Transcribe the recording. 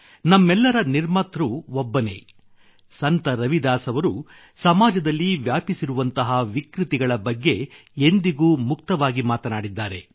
ನಮ್ಮೆಲ್ಲರ ನಿರ್ಮಾತೃ ಒಬ್ಬನೇ ಸಂತ ರವಿದಾಸ್ ಅವರು ಸಮಾಜದಲ್ಲಿ ವ್ಯಾಪಿಸಿರುವಂತಹ ವಿಕೃತಿಗಳ ಬಗ್ಗೆ ಎಂದಿಗೂ ಮುಕ್ತವಾಗಿ ಮಾತನಾಡಿದ್ದಾರೆ